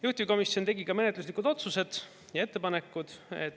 Juhtivkomisjon tegi ka menetluslikud otsused ja ettepanekud.